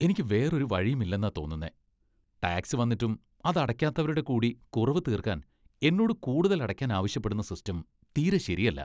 എനിക്ക് വേറൊരു വഴിയുമില്ലാന്നാ തോന്നുന്നേ , ടാക്സ് വന്നിട്ടും അത് അടയ്ക്കാത്തവരുടെ കൂടി കുറവ് തീർക്കാൻ എന്നോട് കൂടുതൽ അടയ്ക്കാൻ ആവശ്യപ്പെടുന്ന സിസ്റ്റം തീരെ ശെരിയല്ല.